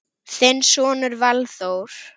Þinn sonur Valþór.